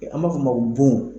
Ɛ an b'a fɔ o ma ko bon.